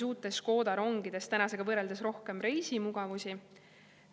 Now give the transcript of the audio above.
Uutes Škoda rongides on tänasega võrreldes rohkem reisimugavusi.